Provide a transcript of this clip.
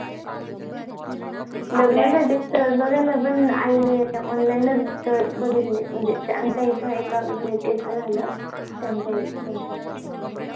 लग्ना साठी स्थळ बगायला पण आई नि online च स्थळ बघितले म्हणजे आमच्या इथे एका ladies च झालं त्याच्या इथे त्याच्या कडे